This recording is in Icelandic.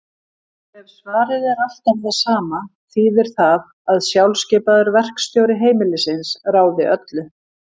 Ef svarið er alltaf það sama þýðir það að sjálfskipaður verkstjóri heimilisins ráði öllu.